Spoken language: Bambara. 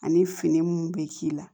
Ani fini mun bɛ k'i la